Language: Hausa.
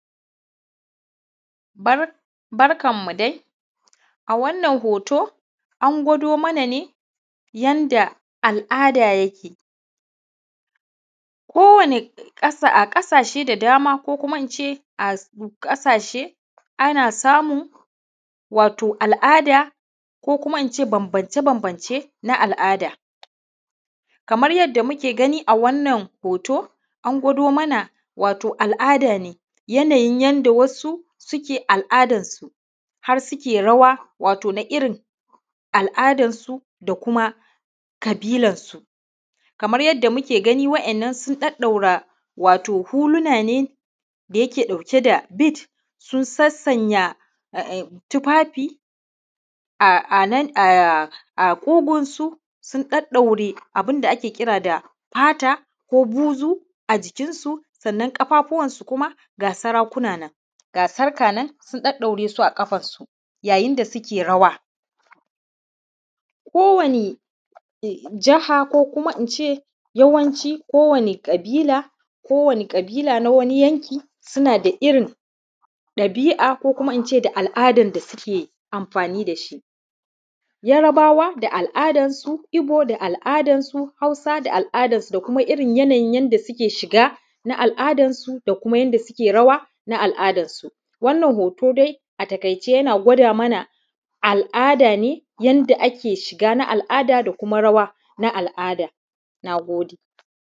Barkan mu dai a wannan hoto, an gwado mana ne yanda al`ada yake kowani ƙasa a ƙasashe da dama kuma ince a ƙasashe ana samun wato al`ada ko kuma ince bambance bambance na al`ada kamar yadda muke gani a wannan hoto an gwado mana wato al`ada ne yanayi yanda wasu suke al`adan su har suke rawa wato na irin al`adan su da kuma ƙabilan su, kamar yanda muke gani wa`yannan sun ɗaɗɗaura wato huluna ne da yake ɗauke da “bead” sun san sanya tufafi a a ƙugunsu sun ɗaɗɗaure abun da ake kira da fata ko buzu a jikinsu sannan ƙafafuwansu kuma ga sarƙuna nan ga sarƙa na nan an ɗauɗaure su a ƙafansu yayin da suke rawa kowani jaha ko kuma ince yawanci kowani ƙabila kowani ƙabila na wani yanki suna da irin ɗabi`a ko kuma ince da al`adan da suke amfani da shi, Yarbawa da al`adan su, Igbo da al`adan su, Hausa da al`adan su, da kuma irin yanayin da suke shiga na al`adan su da kuma yanda suke rawa na al`adan su wannan hoto dai a taƙaice yana gwada mana al`ada ne yanda ake shiga na al`ada da kuma rawa na al`ada, na gode.